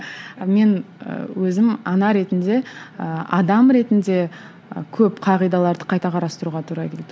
мен ы өзім ана ретінде ы адам ретінде көп қағидаларды қайта қарастыруға тура келді